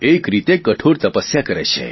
એક રીતે કઠોર તપસ્યા કરે છે